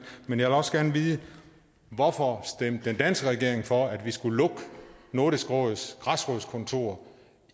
men jeg vil også gerne vide hvorfor den danske regering stemte for at vi skulle lukke nordisk råds græsrodskontor